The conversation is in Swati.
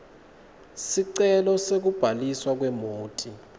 sicelo sekubhaliswa kwemoti